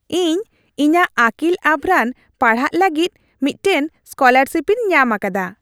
ᱤᱧ ᱤᱧᱟᱹᱜ ᱟᱹᱠᱤᱞ ᱟᱵᱷᱨᱟᱱ ᱯᱟᱲᱦᱟᱜ ᱞᱟᱹᱜᱤᱫ ᱢᱤᱫᱴᱟᱝ ᱥᱠᱚᱞᱟᱨᱥᱤᱯᱤᱧ ᱧᱟᱢ ᱟᱠᱟᱫᱟ ᱾